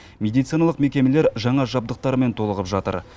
медициналық мекемелер жаңа жабдықтармен толығып жатыр